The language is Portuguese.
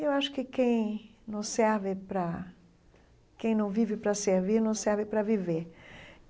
Eu acho que quem não serve para... quem não vive para servir, não serve para viver.